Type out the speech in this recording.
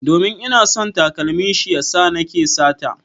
Domin ina son takalmin shi ya sa nake sata.